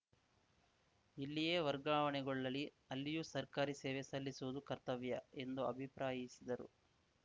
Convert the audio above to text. ಎಲ್ಲಿಯೇ ವರ್ಗಾವಣೆಗೊಳ್ಳಲಿ ಅಲ್ಲಿಯೂ ಸರ್ಕಾರಿ ಸೇವೆ ಸಲ್ಲಿಸುವುದು ಕರ್ತವ್ಯ ಎಂದು ಅಭಿಪ್ರಾಯಿಸಿದರು